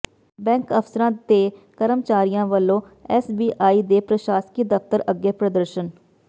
bank ਅਫ਼ਸਰਾਂ ਤੇ ਕਰਮਚਾਰੀਆਂ ਵੱਲੋਂ ਐੱਸਬੀਆਈ ਦੇ ਪ੍ਰਸ਼ਾਸਕੀ ਦਫ਼ਤਰ ਅੱਗੇ ਪ੍ਰਦਰਸ਼ਨ